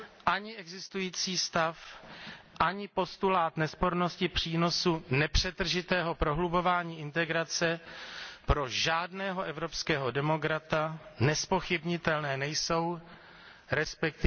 Ani existující stav, ani postulát nespornosti přínosu nepřetržitého prohlubování integrace pro žádného evropského demokrata nezpochybnitelné nejsou, resp.